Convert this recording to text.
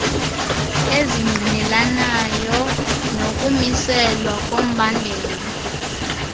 ezingqinelanayo nokumiselwa kombandela